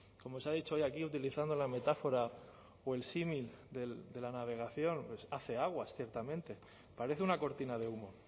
como se ha dicho hoy aquí utilizando la metáfora o el símil de la navegación pues hace aguas ciertamente parece una cortina de humo